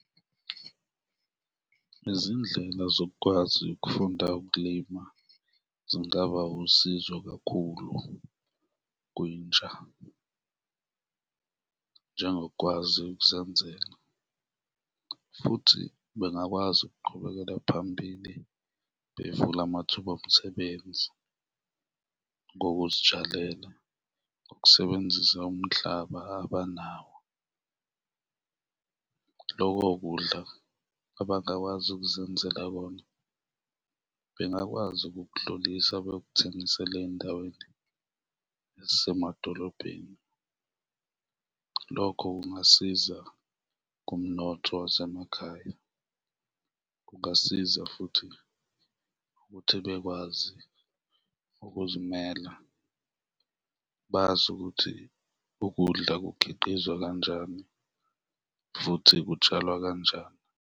Izindlela zokwazi ukufunda ukulima zingaba usizo kakhulu kwintsha, njengokwazi ukuzenzela futhi bengakwazi ukuqhubekela phambili, bevule amathuba omsebenzi ngokuzitshalela, ukusebenzisa umhlaba abanawo. Loko kudla abangakwazi ukuzenzela bona bengakwazi ukukudlulisa bekuthengisele ey'ndaweni ezisemadolobheni, lokho kungasiza kumnotho wasemakhaya, kungasiza futhi ukuthi bekwazi ukuzimela, bazi ukuthi ukudla kukhiqizwa kanjani futhi kutshalwa kanjani.